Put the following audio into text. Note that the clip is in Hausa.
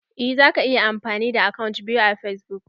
Eh zaka iya amfani da akant biyu a fasbuk.